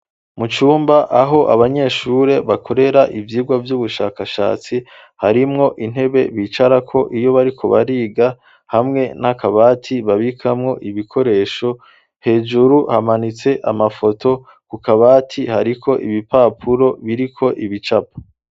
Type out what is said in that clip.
Mu cumba, aho abanyeshure, bakorera ivyigwa vy'ubushakashatsi; harimwo intebe bicarako, iyo bariko bariga; hamwe n'akabati, babikamwo ibikoresho; hejuru, hamanitse amafoto, ku kabati hariko ibipapuro, biriko ibicapo.